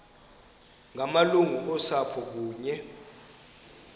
ngamalungu osapho kunye